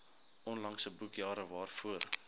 onlangse boekjare waarvoor